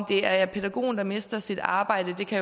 det er pædagogen der mister sit arbejde kan